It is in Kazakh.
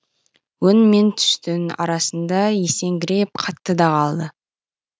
өң мен түстің арасында есеңгіреп қатты да қалды